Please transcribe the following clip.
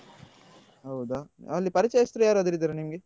ಹೌದಾ ಅಲ್ಲಿ ಪರಿಚಯಸ್ತರು ಯಾರಾದ್ರೂ ಇದ್ದಾರಾ ನಿಮ್ಗೆ?